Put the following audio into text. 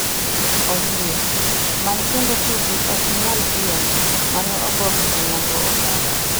Ombui, many kendo tugi "ok inyal piem" mane ogo gi Onyango Obala.